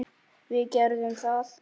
Við gerðum það.